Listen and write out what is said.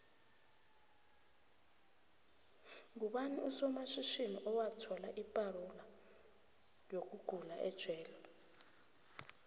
ngubani osomatjhitjhini owathola ipaxula yokugulaejele